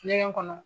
Ɲɛgɛn kɔnɔ